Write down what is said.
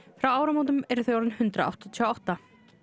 frá áramótum eru þau orðin hundrað áttatíu og átta